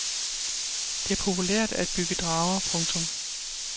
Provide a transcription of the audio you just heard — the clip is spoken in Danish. Det er populært at bygge drager. punktum